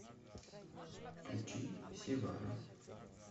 включи севара